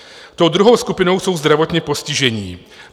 Tou druhou skupinou jsou zdravotně postižení.